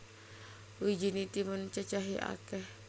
Wijiné timun cacahé akèh